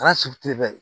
Kɛra su te